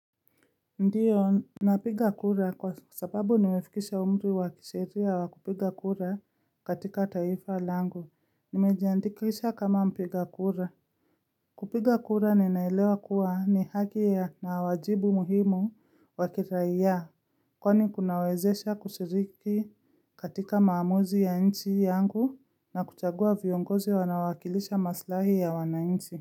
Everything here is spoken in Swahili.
Ndiyo, napiga kura kwa sababu nimefikisha umri wa kisheria wa kupiga kura katika taifa langu. Nimejandikisha kama mpiga kura. Kupiga kura ninaelewa kuwa ni haki ya na wajibu muhimu wa kiraia, kwani kunawezesha kushiriki katika maamuzi ya nchi yangu na kuchagua viongozi wanao wakilisha maslahi ya wanainchi.